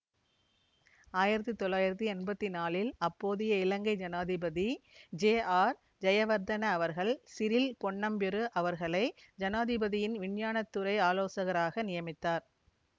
ஆயிரத்தி தொள்ளாயிரத்தி எம்பத்தி நாலில் அப்போதைய இலங்கை ஜனாதிபதி ஜேஆர்ஜயவர்தன அவர்கள் சிறில் பொன்னம்பெரு அவர்களை ஜனாதிபதியின் விஞ்ஞானத்துறை ஆலோசகராக நியமித்தார்